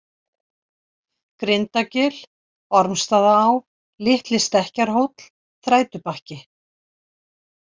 Grindagil, Ormsstaðaá, Litli-Stekkjarhóll, Þrætubakki